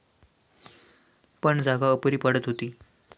पण जागा अपुरी पडत होती.